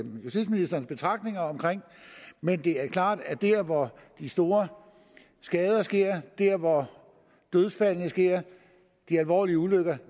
justitsministerens betragtninger om men det er klart at der hvor de store skader sker der hvor dødsfaldene sker de alvorlige ulykker